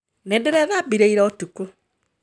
Nĩndĩrethambira ira ũtukũ